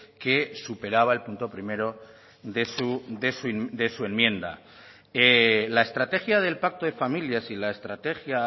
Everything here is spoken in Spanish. que superaba el punto primero de su enmienda la estrategia del pacto de familias y la estrategia